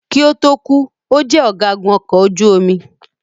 Kí ó tó kù,o jẹ ọ̀gágun ọkọ̀ ojú omi.